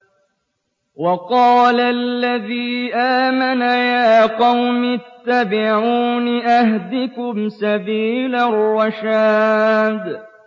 وَقَالَ الَّذِي آمَنَ يَا قَوْمِ اتَّبِعُونِ أَهْدِكُمْ سَبِيلَ الرَّشَادِ